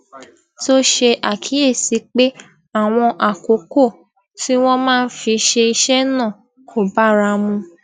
tó ṣe àkíyèsí pé àwọn àkókò tí wón máa fi ṣe iṣé náà kò bára mu